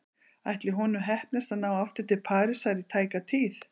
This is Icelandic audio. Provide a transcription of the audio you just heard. Ætli honum heppnist að ná aftur til Parísar í tæka tíð?